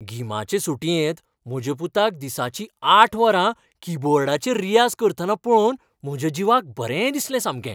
गिमाचे सुटयेंत म्हज्या पुताक दिसाचीं आठ वरां कीबोर्डाचेर रियाज करतना पळोवन म्हज्या जिवाक बरें दिसलें सामकें.